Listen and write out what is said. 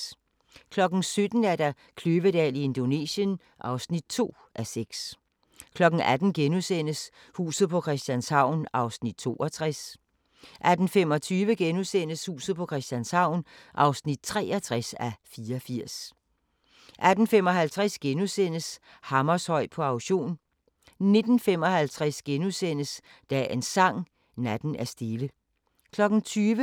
17:00: Kløvedal i Indonesien (2:6) 18:00: Huset på Christianshavn (62:84)* 18:25: Huset på Christianshavn (63:84)* 18:55: Hammershøi på auktion * 19:55: Dagens Sang: Natten er stille * 20:00: